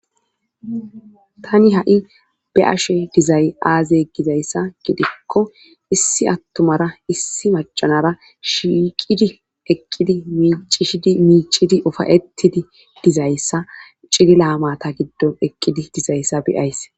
Tani ha'i be'ashe dizay aaze gizayssa gidikko issi attumara issi maca nara shiiqidi ekqidi miicishidi miicidi ofayettidi dizayssa cilila matta giddo ekqidi dizayssa be'ays